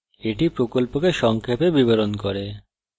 এটি প্রকল্পকে সংক্ষেপে বিবরণ করে